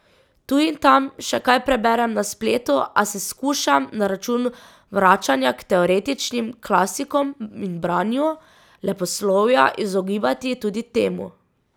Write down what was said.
Tu in tam še kaj preberem na spletu, a se skušam, na račun vračanja k teoretičnim klasikom in branju leposlovja, izogibati tudi temu.